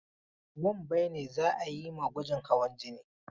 Wambai ne za a yi ma gwajin hawan jini.